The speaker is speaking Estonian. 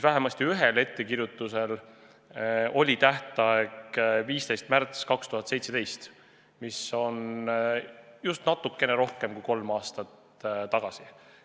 Vähemasti ühel ettekirjutusel oli tähtaeg 15. märts 2017, mis on just natuke rohkem kui kolm aastat tagasi.